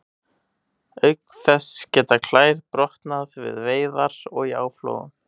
Auk þess geta klær brotnað við veiðar og í áflogum.